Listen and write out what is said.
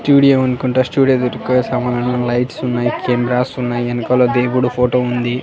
Studio అనుకుంటా studio దగ్గర సమన్లు అను లైట్స్ ఉన్నాయ్ కెమెరాస్ ఉన్నాయ్ వెనకాల దేవుడు ఫోటో ఉంది.